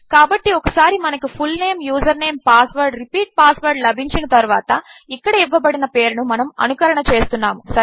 కాబట్టి ఒకసారిమనకుfulname username password repeat password లభించినతరువాతఇక్కడఇవ్వబడినపేరునుమనముఅనుకరణచేస్తున్నాము